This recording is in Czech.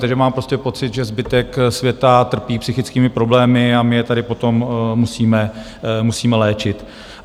Takže mám prostě pocit, že zbytek světa trpí psychickými problémy, a my je tady potom musíme léčit.